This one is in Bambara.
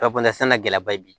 Ka fɔ la sannikɛla ba bi